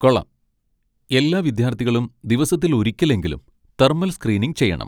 കൊള്ളാം! എല്ലാ വിദ്യാർത്ഥികളും ദിവസത്തിൽ ഒരിക്കലെങ്കിലും തെർമൽ സ്ക്രീനിംഗ് ചെയ്യണം.